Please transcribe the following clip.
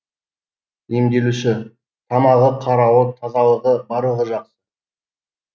емделуші тамағы қарауы тазалығы барлығы жақсы